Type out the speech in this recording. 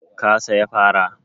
Ka saya fara?